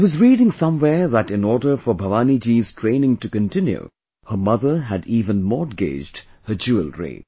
I was reading somewhere that in order for Bhavani ji's training to continue, her mother had even mortgaged her jewellery